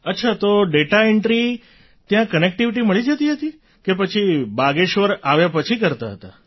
અચ્છા તે data entry ત્યાં કનેક્ટિવિટી મળી જતી હતી કે પછી બાગેશ્વર આવ્યા પછી કરતાં હતાં